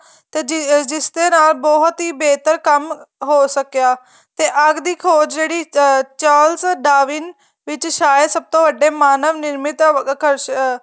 ਤੇ ਜਿਸ ਨਾਲ ਹੀ ਬਹੁਤ ਹੀ ਬੇਹਤਰ ਕੰਮ ਹੋ ਸਕਿਆ ਤੇ ਅੱਗ ਦੀ ਖੋਜ ਜਿਹੜੀ Thomas ਡਾ ਵਿੰਨ ਵਿੱਚ ਸਾਇਦ ਸਭ ਤੋ ਵੱਡੇ ਮਾਨਵ ਨਿਰਮਿਤ ਅਹ